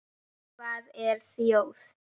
Hvað er þjóð?